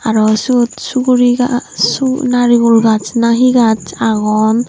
aro syot suguri gaaj su narigul gaaj na hi gaj agon.